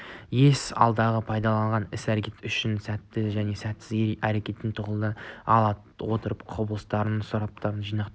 ес алдағы пайдалы іс-әрекеттер үшін сәтті және сәтсіз әрекеттерден тағылым ала отырып құбылыстарды сұрыптап жинақтайды